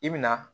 I bi na